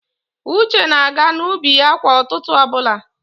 Uche na-aga n'ubi ya kwa ụtụtụ ọbụla.